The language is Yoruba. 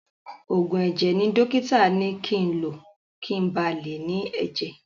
Òògùn ẹ̀jẹ̀ ni dọ́kítà ni ki ń lo kin ba lè ní ẹ̀jẹ̀.